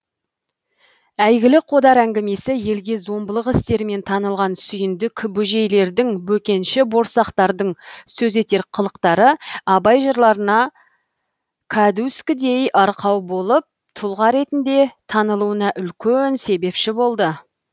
әйгілі қодар әңгімесі елге зомбылық істерімен танылған сүйіндік бөжейлердің бөкенші борсақтардың сөз етер қылықтары абай жырларына кәдуіскідей арқау болып тұлға ретінде танылуына үлкен себепші болды